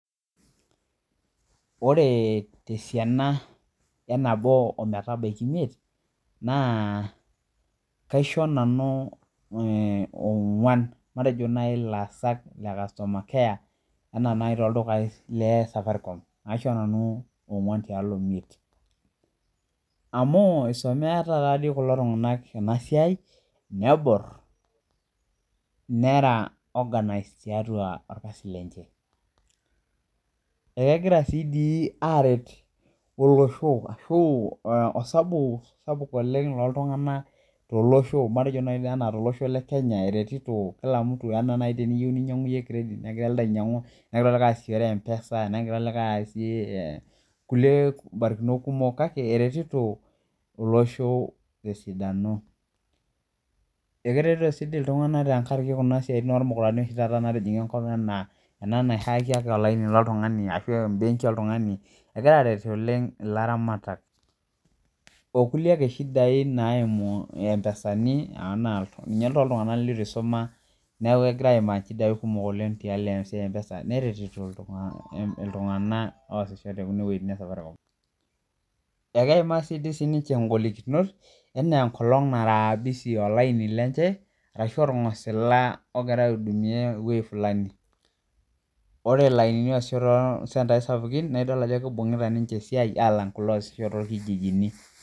Orebtesianabenabo emetabaki imiet nakaisho nanu onguan le customer care anaa kulo le Safaricom aisho nanu onguan tiatua imiet amu tenemeeta kulo tunganak nebore nera Orkarsi lenye akegira arwt olosho ashu osabu sapuk oleng tolosho matejo nai enegira elebainyangu kiredit negira elde aingoru meaku orkasi kake eretito olosho aitobiraki akeretito si ltunganak tenkaraki enasia ormukurani natijinga enkop anaa enahaki embenki oltungani egira arwt oleng laramatak okulie nyamalitin naimu empesani teneponu ltunganak itusuma na keaku kegira aimaa shida sapuk neretito ltunganak oimgua enewueji e Safaricom ekeimaa sinye ngolikinot anaa enkolong nara busy olaini lenye araahu orngosila ogira aiudumia ewoi fulani oasisho torkijinini.